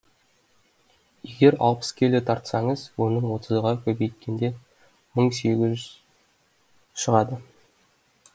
егер алпыс келі тартсаңыз оның отызға көбейткенде мың сегіз жүз шығады